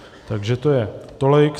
Takže to je tolik.